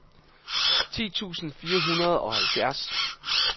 ti tusind fire hundrede og halvfjerds